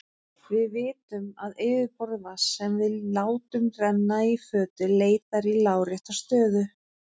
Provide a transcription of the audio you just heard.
Við vitum að yfirborð vatns sem við látum renna í fötu leitar í lárétta stöðu.